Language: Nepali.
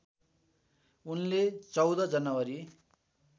उनले १४ जनवरी